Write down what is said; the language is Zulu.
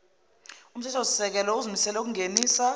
umthethosisekelo uzimisele ukungenisa